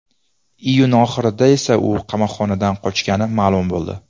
Iyun oxirida esa u qamoqxonadan qochgani ma’lum bo‘ldi.